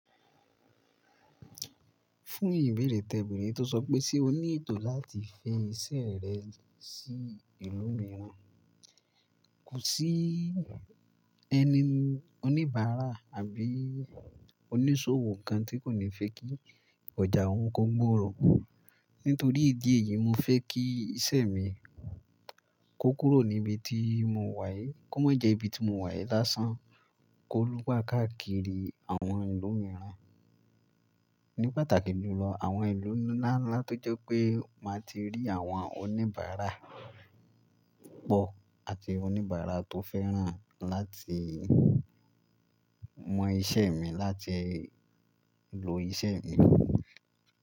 Fún ìbéèrè tẹ bere tó sọ pé ṣe o ní ètò láti fẹ iṣẹ́ rẹ sí ìlú mìíràn, kò sí ẹni oníbàárà àbí oníṣòwò kan tí kò ní fẹ́ kí ọjà òun kó gbòòrò. Nítorí ìdí èyí, mo fẹ́ kí iṣẹ́ mi kó kúrò níbi tí mo wà yìí, kó má jẹ ibi tí mo wà yìí lásán, kó lú gbà káàkiri àwọn ìlú mìíràn. Ní pàtàkì jù lọ, àwọn ìlú ńlá ńlá tó jẹ́ pé màá ti rí àwọn oníbàárà pọ̀ àti oníbàárà tó fẹ́ràn láti mọ iṣẹ́ mi, láti lo iṣẹ́ mi.